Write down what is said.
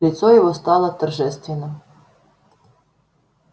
лицо его стало торжественным